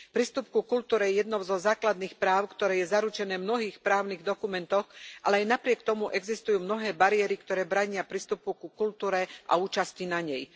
Prístup ku kultúre je jedným zo základných práv, ktoré je zaručené v mnohých právnych dokumentoch, ale aj napriek tomu existujú mnohé bariéry, ktoré bránia prístupu ku kultúre a účasti na nej.